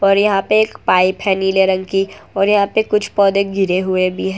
और यहां पे एक पाइप है नीले रंग की और यहां पे कुछ पौधे गिरे हुए भी है।